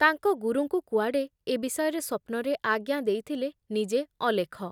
ତାଙ୍କ ଗୁରୁଙ୍କୁ କୁଆଡ଼େ ଏ ବିଷୟରେ ସ୍ଵପ୍ନରେ ଆଜ୍ଞା ଦେଇଥିଲେ ନିଜେ ଅଲେଖ ।